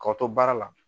K'aw to baara la